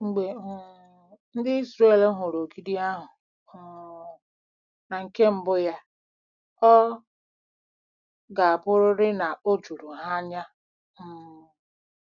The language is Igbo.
Mgbe um ndị Izrel hụrụ ogidi ahụ um na nke mbụ ya, ọ ga-abụrịrị na o juru ha anya um.